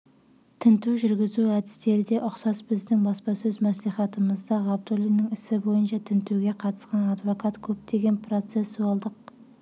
тінту жүргізу әдістері де ұқсас біздің баспасөз мәслихатымызда ғабдуллинннің ісі бойынша тінтуге қатысқан адвокат көптеген процессуалдық